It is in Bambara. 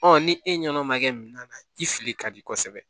ni e ɲɛna o ma kɛ minan na ji fili ka di kosɛbɛ